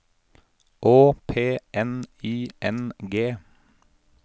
Å P N I N G